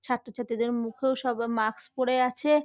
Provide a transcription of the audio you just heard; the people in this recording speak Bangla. ছাত্রছাত্রীদের মুখেও সব মাস্ক পরে আছে-এ।